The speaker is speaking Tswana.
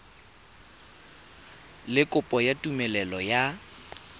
le kopo ya tumelelo ya